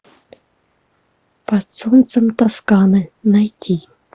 под солнцем тосканы найти